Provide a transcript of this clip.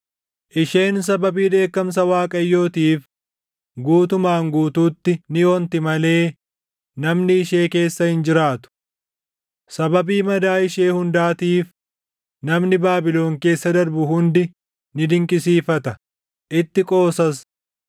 Isheen sababii dheekkamsa Waaqayyootiif guutumaan guutuutti ni onti malee namni ishee keessa hin jiraatu. Sababii madaa ishee hundaatiif namni Baabilon keessa darbu hundi ni dinqisiifata; itti qoosas.